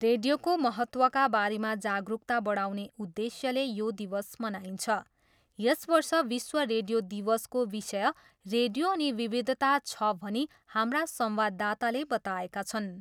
रेडियोको महत्त्वका बारेमा जागरुकता बढाउने उद्देश्यले यो दिवस मनाइन्छ। यस वर्ष विश्व रेडियो दिवसको विषय रेडियो अनि विविधता छ भनी हाम्रा संवाददाताले बताएका छन्।